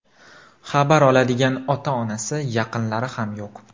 Xabar oladigan ota-onasi, yaqinlari ham yo‘q.